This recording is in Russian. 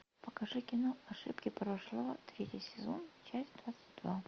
покажи кино ошибки прошлого третий сезон часть двадцать два